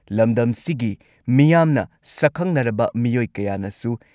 ꯂꯝꯗꯝꯁꯤꯒꯤ ꯃꯤꯌꯥꯝꯅ, ꯁꯛꯈꯪꯅꯔꯕ ꯃꯤꯑꯣꯏ ꯀꯌꯥꯅꯁꯨ